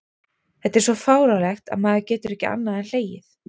Þetta er svo fáránlegt að maður getur ekki annað en hlegið.